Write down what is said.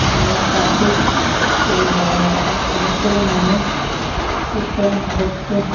এখানে একটা সিক পুলিশ দেখা যাচ্ছে অনেকগুলি মানুষ কীর্তন দেখচে ।